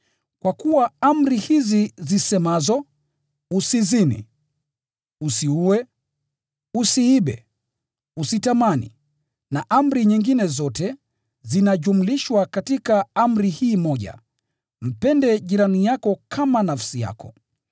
Kwa kuwa amri hizi zisemazo, “Usizini,” “Usiue,” “Usiibe,” “Usitamani,” na amri nyingine zote, zinajumlishwa katika amri hii moja: “Mpende jirani yako kama nafsi yako.”